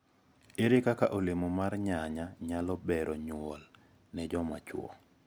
Ere kaka olemo mar nyanya nyalo bero nyuol ne jomachuo?